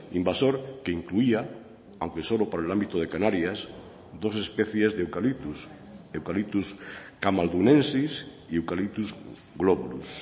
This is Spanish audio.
invasor que incluía aunque solo por el ámbito de canarias dos especies de eucalyptus eucalyptus camaldunensis y eucalyptus globulus